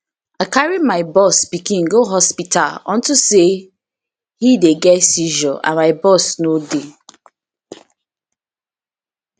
i carry my boss pikin go hospital unto say he dey get seizure and my boss no dey